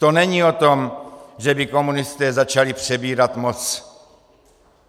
To není o tom, že by komunisté začali přebírat moc.